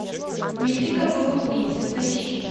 мифика богоубийца поищи